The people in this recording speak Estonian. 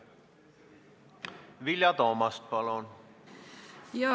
Vilja Toomast, palun!